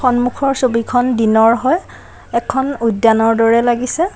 সন্মুখৰ ছবিখন দিনৰ হয় এখন উদ্যানৰ দৰে লাগিছে।